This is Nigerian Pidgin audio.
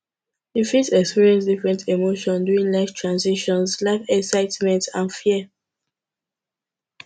you fit experience different emotions during life transitions life excitement and fear